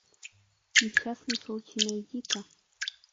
несчастный случай найди ка